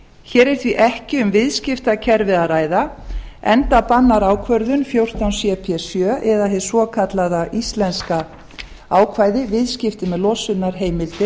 hér er því ekki um viðskiptakerfi að ræða enda bannar ákvörðun fjórtán cp sjö eða hið svokallaða íslenska ákvæði viðskipti með losunarheimildir